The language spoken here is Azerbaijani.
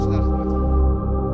Hər hansı bir sualınız olsa, buyurun.